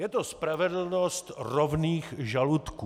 Je to spravedlnost rovných žaludků.